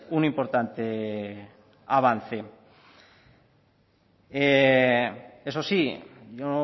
un importante avance eso sí yo